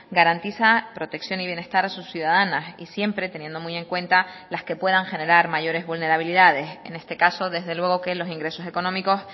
garantiza protección y bienestar a sus ciudadanas y siempre teniendo muy en cuenta las que puedan generar mayores vulnerabilidades en este caso desde luego que los ingresos económicos